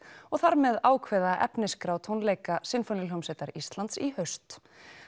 og þar með ákveða efnisskrá tónleika Sinfoníuhljómsveitar Íslands í haust